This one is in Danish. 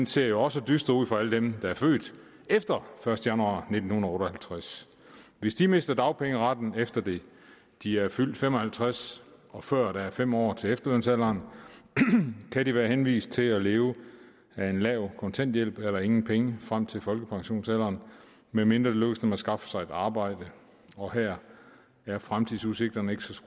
ser jo også dyster ud for alle dem der er født efter den første januar nitten otte og halvtreds hvis de mister dagpengeretten efter de de er fyldt fem og halvtreds og før der er fem år til efterlønsalderen kan de være henvist til at leve af en lav kontanthjælp eller ingen penge frem til folkepensionsalderen medmindre det lykkes dem at skaffe sig et arbejde og her er fremtidsudsigterne ikke så